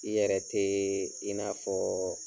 I yɛrɛ te i n'a fɔ